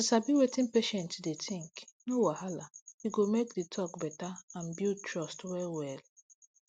to sabi wetin patient dey think no wahala e go make to talk better and build trust well well